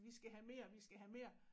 Vi skal have mere vi skal have mere